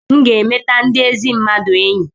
m ga-emeta ndị ezi mmadụ enyi